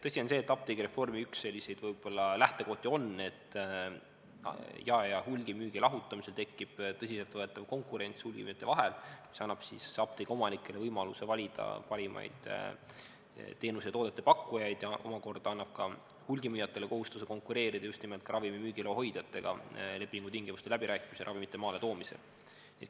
Tõsi on see, et apteegireformi üks võib-olla lähtekohti on, et jae- ja hulgimüügi lahutamisel tekib tõsiselt võetav konkurents hulgimüüjate vahel, mis annab apteegiomanikele võimaluse valida parimaid teenuste ja toodete pakkujaid ning omakorda paneb ka hulgimüüjatele kohustuse konkureerida just nimelt ka ravimi müügiloa hoidjatega lepingutingimuste läbirääkimistel ja ravimite maaletoomisel.